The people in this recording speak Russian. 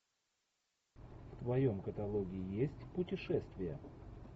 в твоем каталоге есть путешествия